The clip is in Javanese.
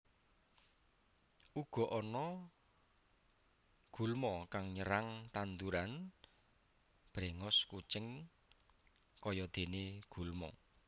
Uga ana gulma kang nyerang tanduran brèngos kucing kayadené gulma